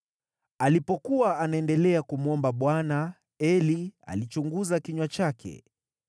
Alipokuwa anaendelea kumwomba Bwana , Eli alichunguza kinywa chake.